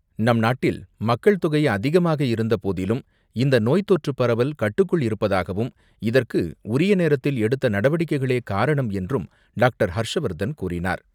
நம் நாட்டில் மக்கள் தொகை அதிகமாக இருந்தபோதிலும், இந்த நோய் தொற்று பரவல் கட்டுக்குள் இருப்பதாகவும், இதற்கு உரிய நேரத்தில் எடுத்த நடவடிக்கைகளே காரணம் என்றும் டாக்டர் ஹர்ஷவர்தன் கூறினார்.